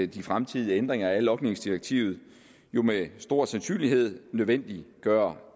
de fremtidige ændringer af logningsdirektivet jo med stor sandsynlighed nødvendiggør